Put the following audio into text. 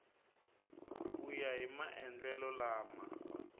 ku ya hi maendlelo lama